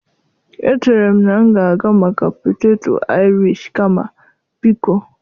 Echere m na m ga-aga maka poteto Irish kama. Biko